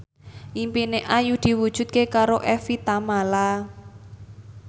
impine Ayu diwujudke karo Evie Tamala